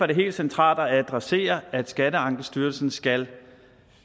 det helt centralt at adressere at skatteankestyrelsen skal